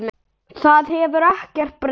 Það hefur ekkert breyst.